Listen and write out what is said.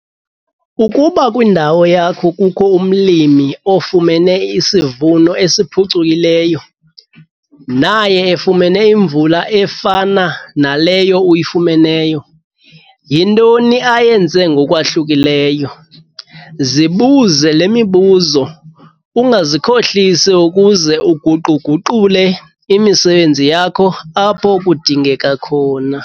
Ukuba kwindawo yakho kukho umlimi ofumene isivuno esiphucukileyo, naye efumene imvula efana naleyo uyifumeneyo, yintoni ayenze ngokwahlukileyo? Zibuze le mibuzo, ungazikhohlisi ukuze uguqu-guqule imisebenzi yakho apho kudingeka khona.